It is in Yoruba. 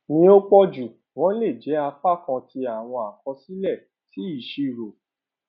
ni o pọju wọn le jẹ apakan ti awọn akọsilẹ si iṣiro